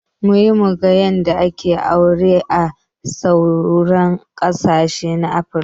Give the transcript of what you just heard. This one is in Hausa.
Mun he mun ga yanda ake aure a sauran ƙasashe na afruka